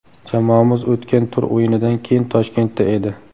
Jamoamiz o‘tgan tur o‘yinidan keyin Toshkentda edi.